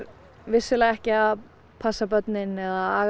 vissulega ekki að passa börnin eða aga